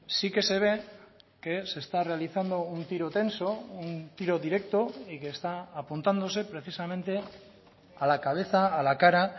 sí que se ve que se está realizando un tiro tenso un tiro directo y que está apuntándose precisamente a la cabeza a la cara